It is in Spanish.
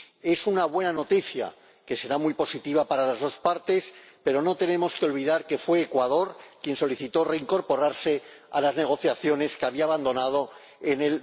Es una buena noticia, que será muy positiva para las dos partes, pero no tenemos que olvidar que fue Ecuador quien solicitó reincorporarse a las negociaciones que había abandonado en